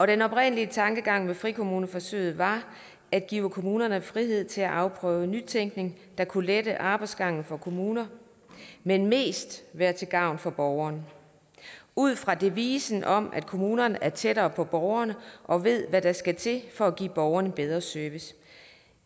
den oprindelige tankegang med frikommuneforsøget var at give kommunerne frihed til at afprøve nytænkning der kunne lette arbejdsgangen for kommuner men mest være til gavn for borgerne ud fra devisen om at kommunerne er tættere på borgerne og ved hvad der skal til for at give borgerne bedre service